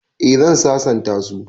Eh zan sasanta su